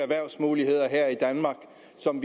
som